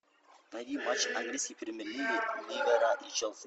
найди матч английской премьер лиги ливера и челси